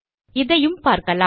இதையும் பார்க்கலாம்